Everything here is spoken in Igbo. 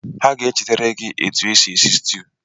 Ha ga-echetere gị etu esi esi situ